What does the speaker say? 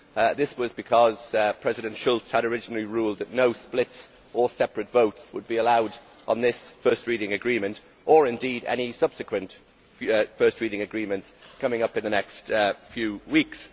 This was because President Schulz had originally ruled that no split or separate votes would be allowed on this first reading agreement, or indeed on any subsequent first reading agreements coming up in the next few weeks.